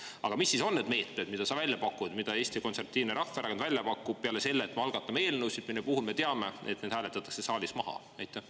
Aga mis siis on need meetmed, mida sa välja pakud, mida Eesti Konservatiivne Rahvaerakond välja pakub, peale selle, et me algatame eelnõusid, mille puhul me teame, et need hääletatakse saalis maha?